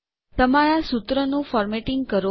તમારાં સૂત્રોનું ફોર્મેટીંગ કરો